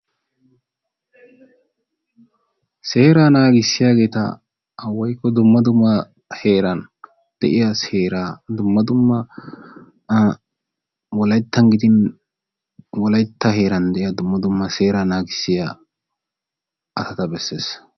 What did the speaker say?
Seeraa naagissiyageeta woykko dumma dumma heeran de"iya seeraa dumma dumma wolayttan gidin wolaytta heeran de"iya dumma dumma seeraa naagissiya asata besses.